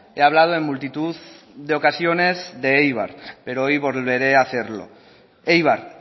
he hablado en multitud de ocasiones de eibar pero hoy volveré hacerlo eibar